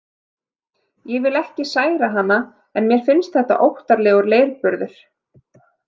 Ég vil ekki særa hana en mér finnst þetta óttalegur leirburður.